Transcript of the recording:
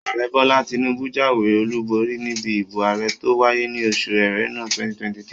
Ààrẹ Bọ́lá Tinúbú jáwé olùborí níbi ìbò ààrẹ tó wáyé ní oṣù Ẹrẹ́nà 2023